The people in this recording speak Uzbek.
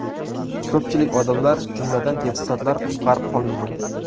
Ko‘pchilik odamlar, jumladan, deputatlar qutqarib qolindi.